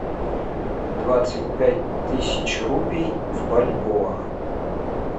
двадцать пять тысяч рупий в бальбоа